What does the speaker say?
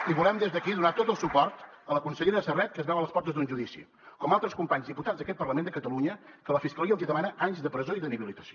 i volem des d’aquí donar tot el suport a la consellera serret que es veu a les portes d’un judici com altres companys diputats d’aquest parlament de catalunya que la fiscalia els hi demana anys de presó i d’inhabilitació